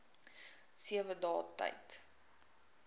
sewe dae tyd